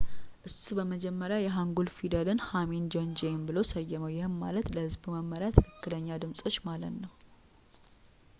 እሱ በመጀመሪያ የሃንጉልን ፊደል ሐንሚን ጆንጂዬም ብሎ ሰየመው ይህም ማለት ለሕዝቡ መመሪያ ትክክለኛ ድምጾች ማለት ነው